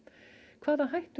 hvaða hættur